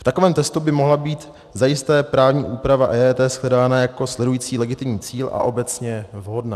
V takovém testu by mohla být zajisté právní úprava EET shledána jako sledující legitimní cíl a obecně vhodná.